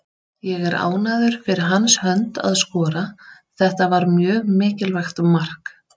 Ég er ánægður fyrir hans hönd að skora, þetta var mjög mikilvægt mark.